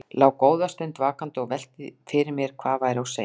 Lá góða stund vakandi og velti fyrir mér hvað væri á seyði.